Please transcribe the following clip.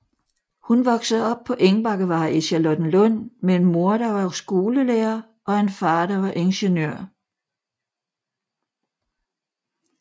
Hun voksede op på Engbakkevej i Charlottenlund med en mor der var skolelærer og en far der var ingeniør